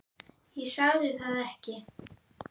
Ég sagði það ekki.